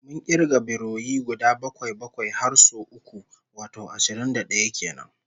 Mun kirga biroyi guda bakwai-bakwai har sau uku, wato ashirin da d'aya kenan